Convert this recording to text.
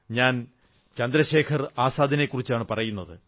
ഞാൻ ചന്ദ്രശേഖർ ആസാദിനെക്കുറിച്ചാണു പറയുന്നത്